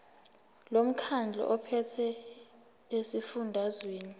lomkhandlu ophethe esifundazweni